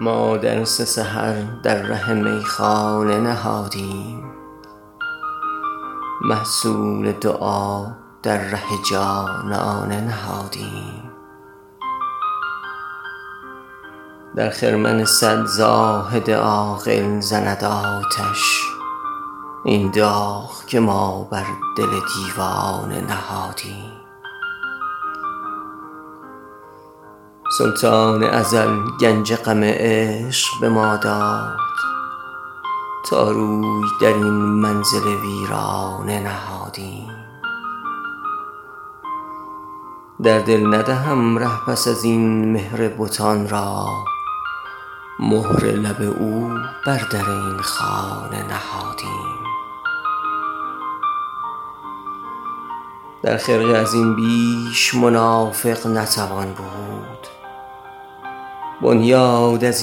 ما درس سحر در ره میخانه نهادیم محصول دعا در ره جانانه نهادیم در خرمن صد زاهد عاقل زند آتش این داغ که ما بر دل دیوانه نهادیم سلطان ازل گنج غم عشق به ما داد تا روی در این منزل ویرانه نهادیم در دل ندهم ره پس از این مهر بتان را مهر لب او بر در این خانه نهادیم در خرقه از این بیش منافق نتوان بود بنیاد از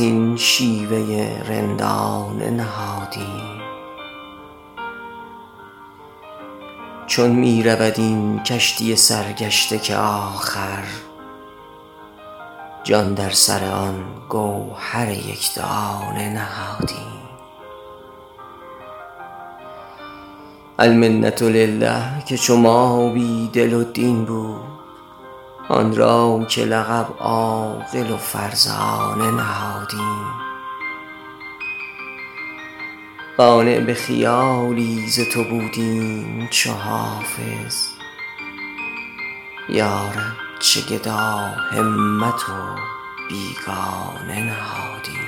این شیوه رندانه نهادیم چون می رود این کشتی سرگشته که آخر جان در سر آن گوهر یک دانه نهادیم المنة لله که چو ما بی دل و دین بود آن را که لقب عاقل و فرزانه نهادیم قانع به خیالی ز تو بودیم چو حافظ یا رب چه گداهمت و بیگانه نهادیم